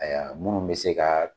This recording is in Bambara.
minnu bɛ se ka